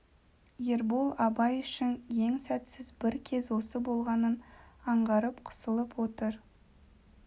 ербол абай үшін ең сәтсіз бір кез осы болғанын аңғарып қысылып отыр